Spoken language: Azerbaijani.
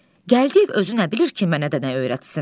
Gəldiyev özü nə bilir ki, mənə də nə öyrətsin.